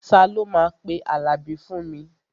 Ta ló máa pe Àlàbí fún mi?